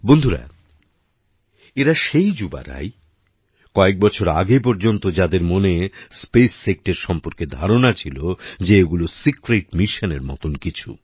বন্ধুরা এরা সেই যুবারাই কয়েক বছর আগে পর্যন্ত যাদের মনে স্পেস সেক্টর সম্পর্কে ধারণা ছিল যে এগুলো সিক্রেট মিশন এর মতন কিছু